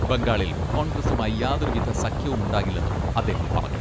ബംഗാളിൽ കോൺഗ്രസുമായി യാതൊരുവിധ സഖ്യവുമുണ്ടാകില്ലെന്നും അദ്ദേഹം പറഞ്ഞു.